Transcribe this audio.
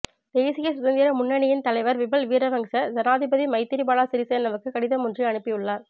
தேசிய சுதந்திர முன்னியின் தலைவர் விமல் வீரவங்ச ஜனாதிபதி மைத்திரிபால சிறிசேனவுக்கு கடிதம் ஒன்றை அனுப்பியுள்ளார்